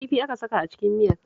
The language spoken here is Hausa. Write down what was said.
Kifi aka saka a cikin miyar